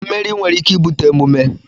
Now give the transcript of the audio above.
mmeri nwere ike ibute emume